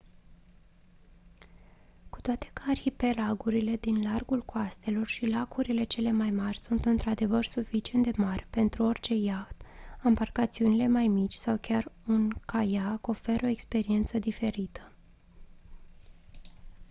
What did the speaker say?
cu toate că arhipelagurile din largul coastelor și lacurile cele mai mari sunt într-adevăr suficient de mari pentru orice iaht ambarcațiunile mai mici sau chiar un caiac oferă o experiență diferită